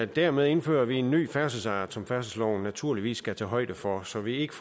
dermed indfører vi en ny færdselsart som færdselsloven naturligvis skal tage højde for så vi ikke